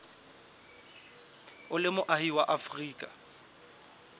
o le moahi wa afrika